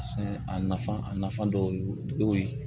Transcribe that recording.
A sɛnɛ a nafa a nafa dɔw ye